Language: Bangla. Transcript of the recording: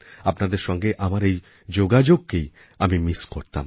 আপনাদের সঙ্গে আমার এইযোগাযোগকেই আমি মিস করতাম